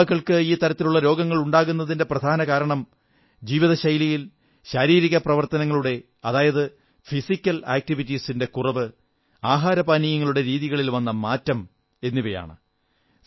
യുവാക്കൾക്ക് ഇത്തരത്തിലുള്ള രോഗങ്ങൾ ഉണ്ടാകുന്നതിന്റെ പ്രധാന കാരണം ജീവിതശൈലിയിൽ ശാരീരിക പ്രവർത്തനങ്ങളുടെ അതായത് ഫിസിക്കൽ ആക്ടിവിറ്റീസിന്റെ കുറവ് ആഹാരപാനീയങ്ങളുടെ രീതികളിൽ വന്ന മാറ്റം എന്നിവയാണ്